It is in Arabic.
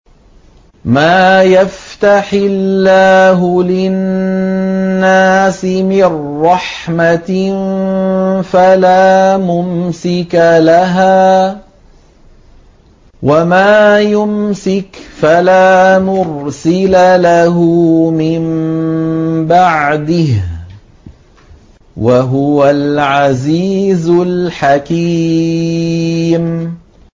مَّا يَفْتَحِ اللَّهُ لِلنَّاسِ مِن رَّحْمَةٍ فَلَا مُمْسِكَ لَهَا ۖ وَمَا يُمْسِكْ فَلَا مُرْسِلَ لَهُ مِن بَعْدِهِ ۚ وَهُوَ الْعَزِيزُ الْحَكِيمُ